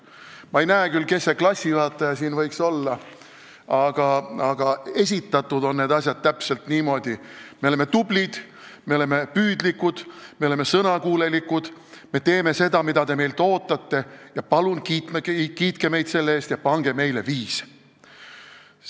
Ma ei näe küll, kes see klassijuhataja siin võiks olla, aga esitatud on need asjad täpselt niimoodi: me oleme tublid, me oleme püüdlikud, me oleme sõnakuulelikud, me teeme seda, mida te meilt ootate, ja palun kiitke meid selle eest ja pange meile viis!